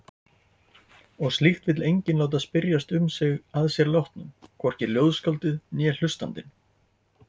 Og slíkt vill enginn láta spyrjast um sig að sér látnum, hvorki ljóðskáldið né hlustandinn.